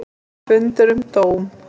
Fundur um dóm